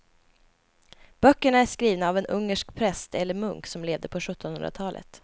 Böckerna är skrivna av en ungersk präst eller munk som levde på sjuttonhundratalet.